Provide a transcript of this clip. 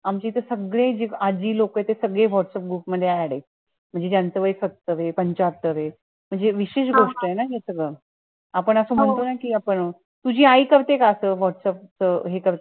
आमचे तर सगळे जे आजी लोकं होते ते सगळे whatsapp group मध्ये add आहेत. म्हणजे ज्यांचं वय सत्तर ए पंचात्तर ए, म्हणजे विशेष गोष्ट ए न हे सगळं आपण असं म्हणतो कि आपण. तुझी आई करते का असं whatsapp हे सगळं